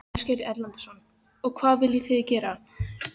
Ásgeir Erlendsson: Og hvað viljið þið gera?